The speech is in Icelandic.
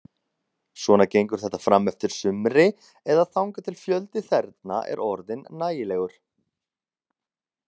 Svona gengur þetta frameftir sumri, eða þangað til fjöldi þerna er orðinn nægilegur.